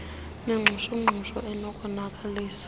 nengxushu ngxushu enokonakalisa